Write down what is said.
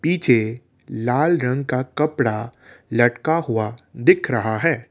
पीछे लाल रंग का कपड़ा लटका हुआ दिख रहा है।